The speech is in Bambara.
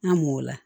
An m'o la